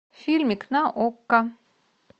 фильмик на окко